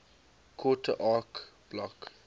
quarter acre block